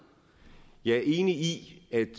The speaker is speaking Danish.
jeg er enig i at